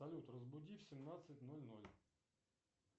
салют разбуди в семнадцать ноль ноль